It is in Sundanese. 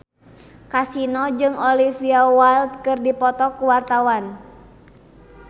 Kasino jeung Olivia Wilde keur dipoto ku wartawan